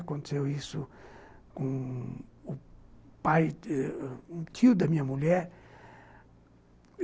Aconteceu isso com um pai, com um tio da minha mulher.